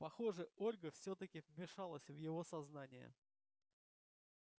похоже ольга всё-таки вмешалась в его сознание